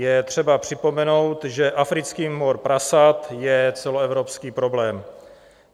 Je třeba připomenout, že africký mor prasat je celoevropský problém.